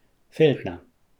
Feltna.